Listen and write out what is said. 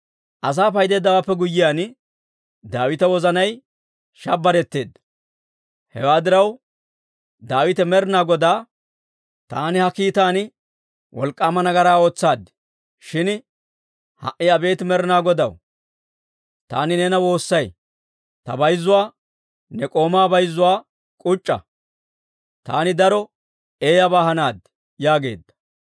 Asaa paydeeddawaappe guyyiyaan, Daawita wozanay shabberetteedda; hewaa diraw, Daawite Med'inaa Godaa, «Taani ha kiitan wolk'k'aama nagaraa ootsaad. Shin ha"i abeet Med'inaa Godaw, taani neena woossay; ta bayzzuwaa, ne k'oomaa bayzzuwaa k'uc'c'a. Taani daro eeyyabaa hanaad» yaageedda.